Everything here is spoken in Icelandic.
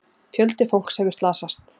Fjöldi fólks hefur slasast.